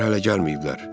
Onlar hələ gəlməyiblər.